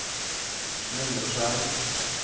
mindre skjerm